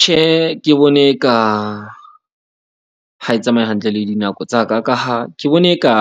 Tjhe, ke bone e ka ha e tsamaye hantle le dinako tsa ka, ka ha ke bone e ka